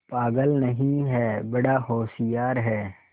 पागल नहीं हैं बड़ा होशियार है